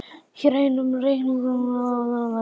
Hér er aðeins um reikningslega ákvörðun að ræða.